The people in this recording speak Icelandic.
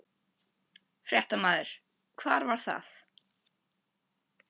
Fréttamaður: Hvar var það?